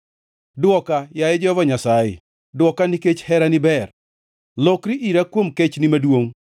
Dwoka, yaye Jehova Nyasaye, dwoka, nikech herani ber; lokri ira kuom kechni maduongʼ.